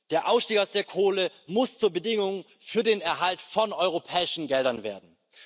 Der Ausstieg aus der Kohle muss zur Bedingung für den Erhalt von europäischen Geldern werden.